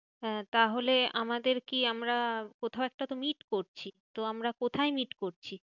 হ্যাঁ তাহলে আমাদের কি আমরা কোথাও একটা তো meet করছি। তো আমরা কোথায় meet করছি?